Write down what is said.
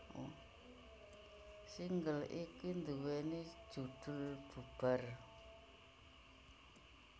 Single iki nduwèni judhul Bubar